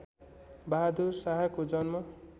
बहादुर शाहको जन्म